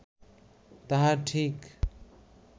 তাহা ঠিক